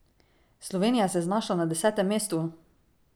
Slovenija se je znašla na desetem mestu!